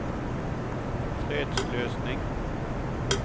fredsløsning